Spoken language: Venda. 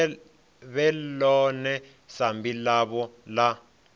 vhe ḽone sambi ḽavho ḽa